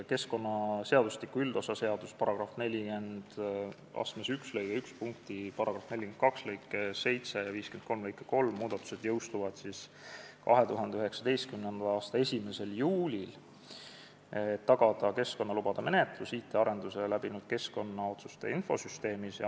Keskkonnaseadustiku üldosa seaduse § 41 lõike 1 punkti 1, § 42 lõike 7 ja § 53 lõike 3 muudatused jõustuvad 2019. aasta 1. juulil, et tagada keskkonnalubade menetlus IT-arenduse läbinud keskkonnaotsuste infosüsteemis.